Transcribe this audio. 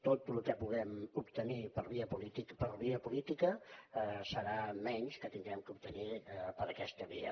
tot el que puguem obtenir per via política serà menys que haurem d’obtenir per aquesta via